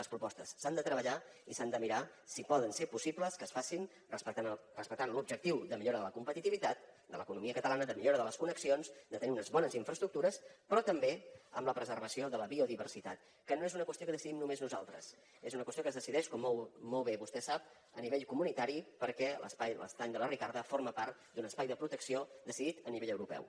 les propostes s’han de treballar i s’han de mirar si poden ser possibles que es facin respectant l’objectiu de millora de la competitivitat de l’economia catalana de millora de les connexions de tenir unes bones infraestructures però també amb la preservació de la biodiversitat que no és una qüestió que decidim només nosaltres és una qüestió que es decideix com molt bé vostè sap a nivell comunitari perquè l’estany de la ricarda forma part d’un espai de protecció decidit a nivell europeu